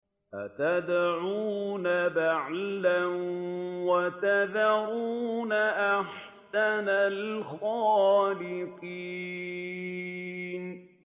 أَتَدْعُونَ بَعْلًا وَتَذَرُونَ أَحْسَنَ الْخَالِقِينَ